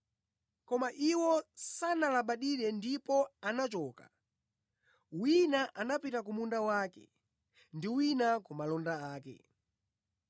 “Koma iwo sanalabadire ndipo anachoka; wina anapita ku munda wake ndi wina ku malonda ake.